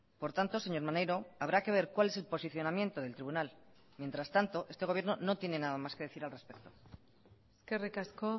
por tanto señor maneiro habrá que ver cuál es el posicionamiento del tribunal mientras tanto este gobierno no tiene nada más que decir al respecto eskerrik asko